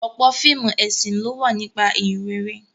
Ọ̀pọ̀ fíìmù ẹ̀sìn ló wà nípa Ìhìnrere